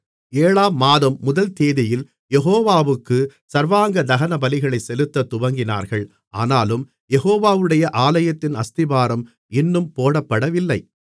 ஏழாம் மாதம் முதல் தேதியில் யெகோவாவுக்கு சர்வாங்க தகனபலிகளைச் செலுத்தத் துவங்கினார்கள் ஆனாலும் யெகோவாவுடைய ஆலயத்தின் அஸ்திபாரம் இன்னும் போடப்படவில்லை